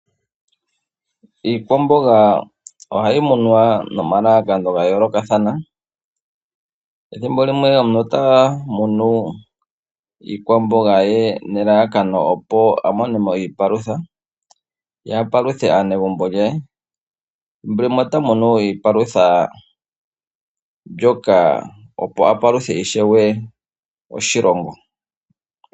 Iikwamboga ohayi kunwa nomalalakano ga yoolokathana. Ethimbo limwe omuntu ota kunu iikwamboga nelelekano a mone mo iipalutha ye a paluthe aanegumbo lye, thimbo limwe ota kunu iipalutha mbyoka opo a paluthe ishewe aakwashigwana.